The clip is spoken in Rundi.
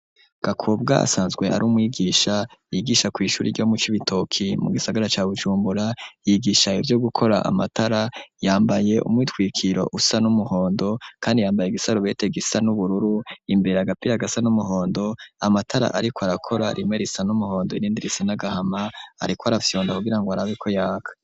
Gakobwa asanzwe ari umwigisha yigisha kw'ishuri ryo mu Cibitoki mu gisagara ca Bujumbura yigisha ivyo gukora amatara yambaye umwitwikiro usa n'umuhondo kandi yambaye igisarubete gisa n'ubururu imbere agapira gasa n'umuhondo amatara ariko arakora rimwe risa n'umuhondo irindi risa n'agahama ariko arafyonda ku girango arabeko yaka.